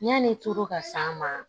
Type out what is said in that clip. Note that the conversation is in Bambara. Yani tor'a ma